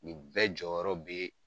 Nin bɛɛ jɔyɔrɔ bɛ